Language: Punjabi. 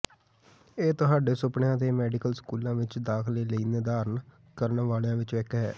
ਇਹ ਤੁਹਾਡੇ ਸੁਪਨਿਆਂ ਦੇ ਮੈਡੀਕਲ ਸਕੂਲਾਂ ਵਿਚ ਦਾਖਲੇ ਲਈ ਨਿਰਧਾਰਨ ਕਰਨ ਵਾਲਿਆਂ ਵਿਚੋਂ ਇਕ ਹੈ